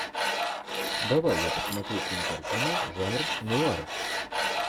давай я посмотрю кинокартину жанр нуар